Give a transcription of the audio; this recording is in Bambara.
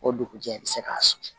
O dugujɛ i bɛ se k'a susu